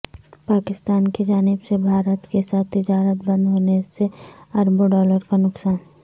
پاکستان کی جانب سے بھارت کیساتھ تجارت بند ہونے سے اربوں ڈالر کا نقصان